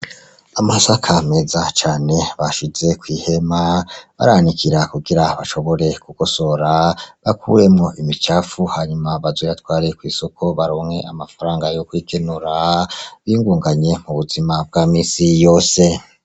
Amasaka meza cane bashize kw'ihema bayanikira kugira bashobore kugosora bakuremo imicafu hanyuma bazoyatware kw'isoko baronka amafaranga yo kwigenura. Y'inguganye ubuzima bwa misi yose.